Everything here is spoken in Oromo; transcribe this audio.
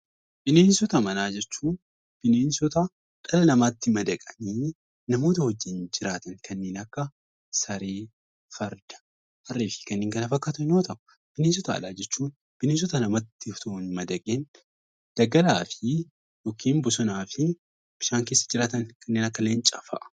Bineensota manaa jechuun bineensota dhala namaatti madaqanii namoota wajjin jiraatan kanneen akka saree, farda, harree fi kanneen kana fakkaatan yoo ta'u, bineensota alaa jechuun bineensota namatti osoo hin madaqin daggalaa fi (bosonaa fi) bishaan keessa jiraatan kanneen akka leencaa fa'a.